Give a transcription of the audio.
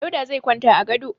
Dauda zai kwanta a gado.